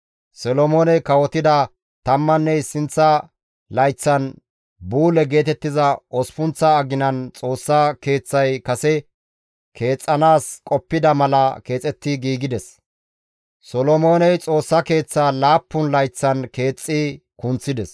Solomooney kawotida tammanne issinththa layththan, Buule geetettiza osppunththa aginan Xoossa Keeththay kase keexxanaas qoppida mala keexetti giigides; Solomooney Xoossa Keeththa laappun layththan keexxi kunththides.